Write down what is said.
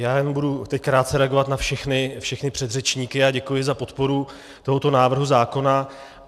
Já jenom budu teď krátce reagovat na všechny předřečníky a děkuji za podporu tohoto návrhu zákona.